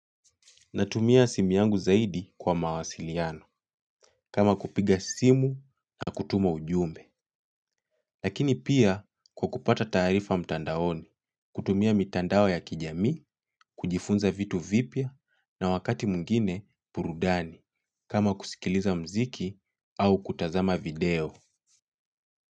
Natumia simi yangu zaidi kwa mawasiliano, kama kupiga simu na kutuma ujumbe. Lakini pia kwa kupata taarifa mtandaoni, kutumia mitandao ya kijamii, kujifunza vitu vipya na wakati mwingine burudani, kama kusikiliza muziki au kutazama video.